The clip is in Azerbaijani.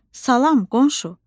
Salam, qonşu,